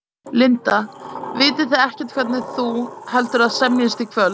Linda: Vitið þið ekkert hvernig þú, heldurðu að semjist í kvöld?